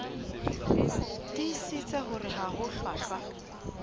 tiisitse hore ha ho hlwahlwa